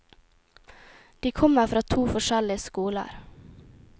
De kommer fra to forskjellige skoler.